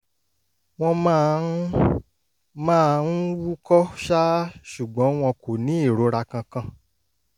wọ́n máa ń máa ń wúkọ́ ṣáá ṣùgbọ́n wọn kò ní ìrora kankan